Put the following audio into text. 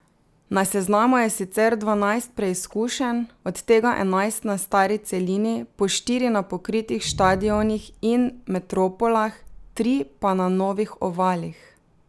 Na seznamu je sicer dvanajst preizkušenj, od tega enajst na stari celini, po štiri na pokritih štadionih in metropolah, tri pa na novih ovalih.